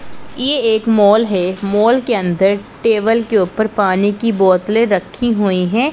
ये एक मॉल है मॉल के अंदर टेबल के ऊपर पानी की बोतलें रखी हुई हैं।